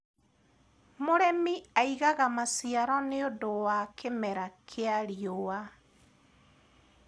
mũrĩmi aigaga maciaro nĩũndũ wa kĩmera kĩa riũa